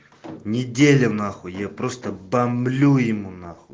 неделя нахуй я просто бомблю ему нахуй